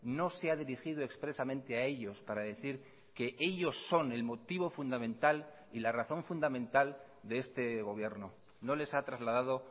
no se ha dirigido expresamente a ellos para decir que ellos son el motivo fundamental y la razón fundamental de este gobierno no les ha trasladado